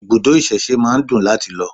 Ibùdó ìsẹ̀se máa ń dùn láti lọ